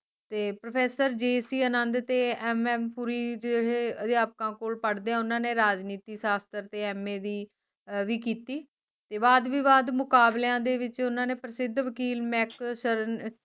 ਤੇ ProfessorJC ਆਨੰਦ ਤੇ MM Puri ਜਿਹੇ ਅਧਿਆਪਕਾਂ ਕੋਲ ਪੜ੍ਹਦਇਆ ਉਨ੍ਹਾਂ ਨੇ ਰਾਜਨੀਤੀ ਸਾਸ਼ਤਰ ਤੇ MA ਦੀ ਵੀ ਕੀਤੀ ਤੇ ਵਾਦ ਵਿਵਾਦ ਮੁਕਾਬਲਿਆਂ ਵਿਚ ਓਹਨਾ ਨੇ ਪ੍ਰਸਿੱਧ ਵਕੀਲ ਸ਼ਰਨ